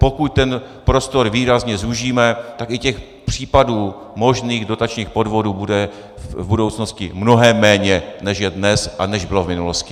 Pokud ten prostor výrazně zúžíme, tak i těch případů možných dotačních podvodů bude v budoucnosti mnohem méně, než je dnes a než bylo v minulosti.